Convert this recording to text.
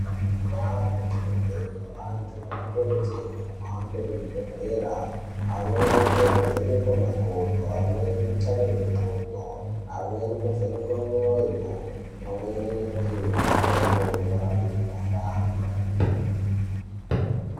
Kundawu dzatinobveyo , antu anokurudzirwe kuhambe kuzvibhedhlera , amweni anovhenekwe makodo , amweni kutarirwe nqondo, amweni kuvhenekwe mwoyo, pamweni nekupuwe mutombo inorape mukhuhlane.